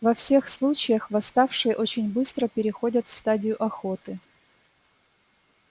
во всех случаях восставшие очень быстро переходят в стадию охоты